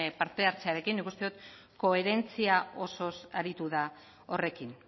parte hartzerekin nik uste dut koherentzia osoz aritu da horrekin